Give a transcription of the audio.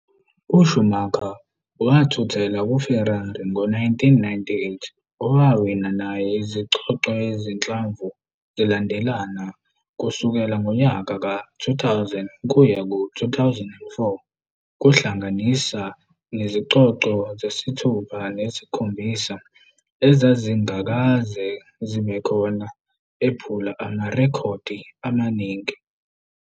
USchumacher wathuthela kuFerrari ngo-1996, owawina naye izicoco ezinhlanu zilandelana kusukela ngonyaka ka-2000 kuya ku-2004, kuhlanganisa nezicoco zesithupha nezesikhombisa ezazingakaze zibe khona, ephula amarekhodi amaningi.